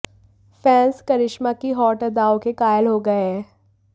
fans Karishma की hot अदाओं के कायल हो गए हैं